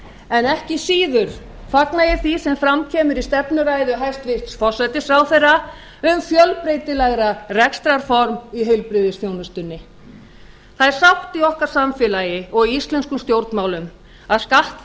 en ekki síður fagna ég því sem fram kemur í stefnuræðu hæstvirts forsætisráðherra um fjölbreytilegra rekstrarform í heilbrigðisþjónustunni það er sátt í okkar samfélagi og í íslenskum stjórnmálum að skatti